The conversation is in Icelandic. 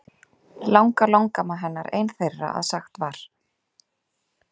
Langalangamma hennar ein þeirra að sagt var.